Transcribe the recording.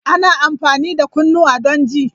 Ana amfani da kunnuwa don ji.